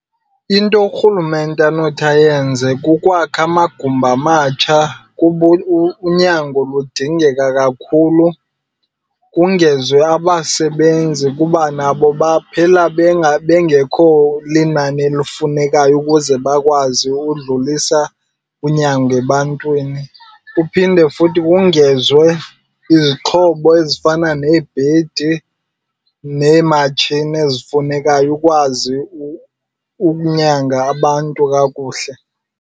Into urhulumente anothi ayenze kukwakha amagumbi amatsha kuba unyango lidingeka kakhulu. Kongezwe abasebenzi kuba nabo baphela bengekho linani elifunekayo ukuze bakwazi udlulisa unyango ebantwini. Kuphinde futhi kongezwe izixhobo ezifana neebhedi neematshini ezifunekayo ukwazi ukunyanga abantu kakuhle.